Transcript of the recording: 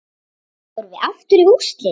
Förum við aftur í úrslit?